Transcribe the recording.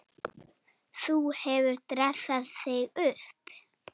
Sú hefur dressað sig upp!